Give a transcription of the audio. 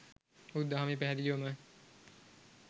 බුදු දහමේ පැහැදිලිවම